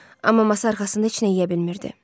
Amma masa arxasında heç nə yeyə bilmirdi.